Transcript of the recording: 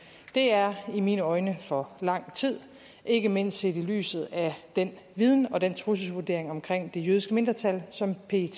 det er i mine øjne for lang tid ikke mindst set i lyset af den viden og den trusselsvurdering omkring det jødiske mindretal som pet